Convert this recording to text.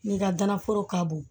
N'i ka ganaforo ka bon